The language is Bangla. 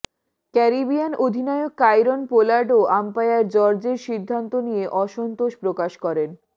ক্যারিবিয়ান অধিনায়ক কাইরন পোলার্ডও আম্পায়ার জর্জের সিদ্ধান্ত নিয়ে অসন্তোষ প্রকাশ করেন